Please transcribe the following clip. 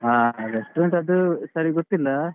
ಹ restaurant ಅದೂ ಸರಿ ಗೊತ್ತಿಲ್ಲಾ.